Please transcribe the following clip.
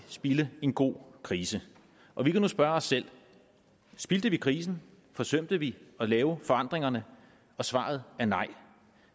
spilde en god krise og vi kan nu spørge os selv spildte vi krisen forsømte vi at lave forandringerne og svaret er nej